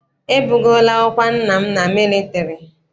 E bugoola ọkwa nna m na mịlịtarị..